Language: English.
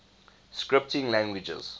scripting languages